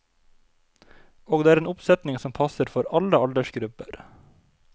Og det er en oppsetning som passer for alle aldersgrupper.